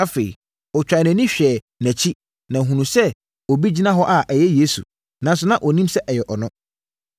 Afei, ɔtwaa nʼani hwɛɛ nʼakyi na ɔhunuu sɛ na obi gyina hɔ a ɛyɛ Yesu, nanso na ɔnnim sɛ ɛyɛ ɔno.